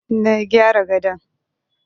Na gyara gadon.